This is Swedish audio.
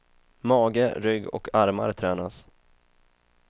Mage, rygg och armar tränas.